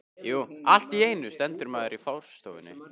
Allt í einu stendur maður í forstofunni.